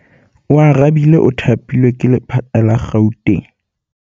Oarabile o thapilwe ke lephata la Gauteng.